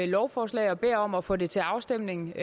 lovforslag og beder om at få det til afstemning